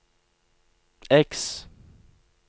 X